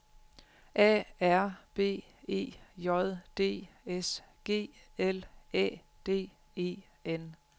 A R B E J D S G L Æ D E N